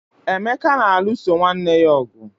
emeka na-alụso nwanne ya ọgụ